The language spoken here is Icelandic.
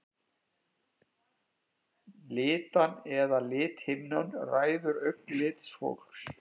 Litan eða lithimnan ræður augnlit fólks.